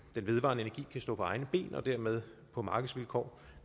vedvarende energi kan stå på egne ben og dermed på markedsvilkår